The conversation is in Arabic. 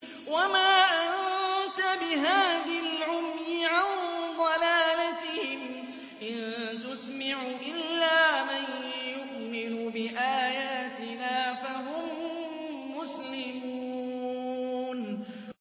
وَمَا أَنتَ بِهَادِي الْعُمْيِ عَن ضَلَالَتِهِمْ ۖ إِن تُسْمِعُ إِلَّا مَن يُؤْمِنُ بِآيَاتِنَا فَهُم مُّسْلِمُونَ